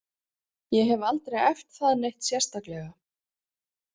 Ég hef aldrei æft það neitt sérstaklega.